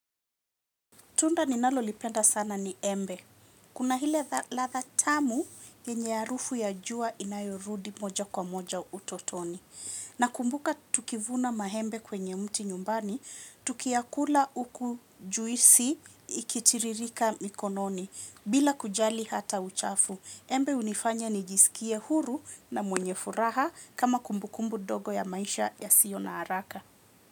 Tunda ninalolipenda sana ni embe. Kuna ile ladha tamu yenye harufu ya jua inayorudi moja kwa moja utotoni. Nakumbuka tukivuna maembe kwenye mti nyumbani, tukiyakula huku juisi ikitiririka mikononi bila kujali hata uchafu. Embe hunifanya nijisikie huru na mwenye furaha kama kumbukumbu ndogo ya maisha yasio na haraka.